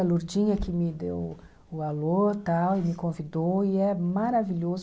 A Lourdinha que me deu o alô tal e me convidou e é maravilhoso.